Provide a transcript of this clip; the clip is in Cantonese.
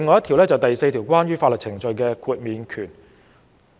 《條例》第4條關於法律程序的豁免權。